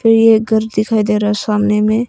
यह एक घर दिखाई दे रहा है सामने में।